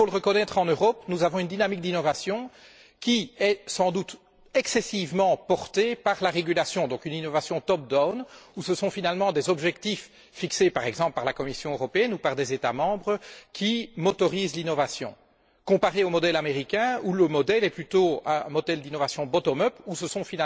Il faut le reconnaître, en Europe, nous avons une dynamique d'innovation qui est sans doute excessivement portée par la régulation, donc une innovation top down où ce sont des objectifs fixés, par exemple, par la Commission européenne ou par des États membres, qui stimulent l'innovation, par rapport au modèle américain, qui est plutôt un modèle d'innovation bottom up où ce sont